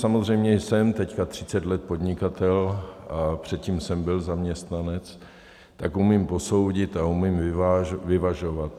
Samozřejmě, jsem teď 30 let podnikatel a předtím jsem byl zaměstnanec, tak umím posoudit a umím vyvažovat.